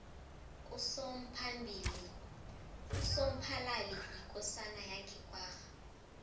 usomphalali yikosana yange kwagga